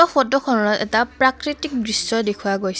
photo খনত এটা প্ৰাকৃতিক দৃশ্য দেখুওৱা গৈছ --